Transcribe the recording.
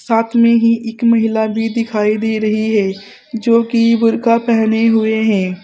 साथ में ही एक महिला भी दिखाई दे रही है जो कि बुर्खा पहने हुए हैं।